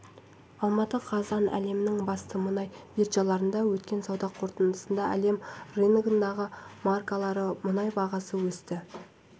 алматы қазан әлемнің басты мұнай биржаларында өткен сауда қортындысында әлем рыногындағы маркалы мұнай бағасы өсті